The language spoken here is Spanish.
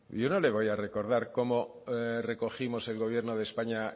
yo no le voy a recordar cómo recogimos el gobierno de españa